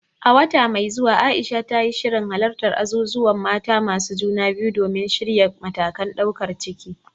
A wata mai zuwa, Aisha ta yi shirin halartar azuzuwan mata masu juna biyu domin shirya matakan daukar ciki.